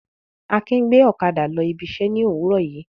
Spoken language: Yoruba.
Akin gbé ọ̀kadà lọ ibi iṣẹ́ ní òwúrọ̀ yìí.